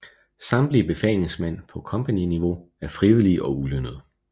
Samtlige befalingsmænd på kompagniniveau er frivillige og ulønnede